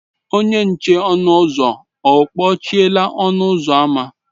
Onye nche ọnụ ụzọ ọ kpọchiela ọnụ ụzọ ámá?